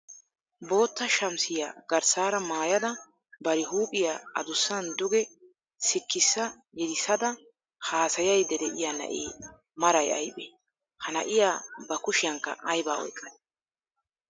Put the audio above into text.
Bootta shamisiya garssaara maayada bari huuphphiya adussan duge sikissa yedisada haasayaydda de'iya na'ee maray aybee? Ha na'iya ba kushiyankka aybaa oyqqadee?